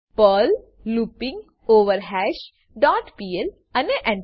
Perl looping over hash dot PL અને Enter